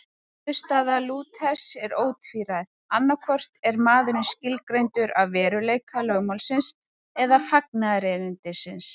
Niðurstaða Lúthers er ótvíræð, annaðhvort er maðurinn skilgreindur af veruleika lögmálsins eða fagnaðarerindisins.